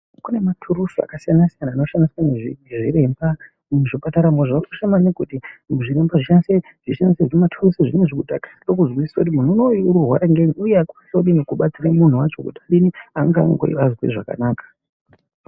Kune maturusi akasiyana siyana anoshandiswa nezvi nezviremba muzvipataramo zvausha nekuti zviremba zvoshandisa humaturuzi kuda kuzwisisackuti munhu unoyu uri kurwara ngei uye akwanise kubatsirika kuti azwe zvakanaka.